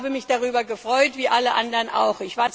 Ich habe mich darüber gefreut wie alle anderen auch.